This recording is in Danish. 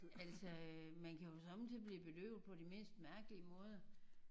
Altså øh man kan jo somme tider blive bedøvet på det mest mærkelige måder